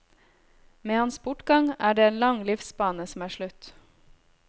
Med hans bortgang er det en lang livsbane som er slutt.